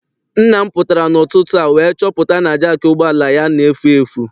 Nna m pụtara n'ụtụtụ a wee chọpụta na jaakị ụgbọala ya na-efu efu.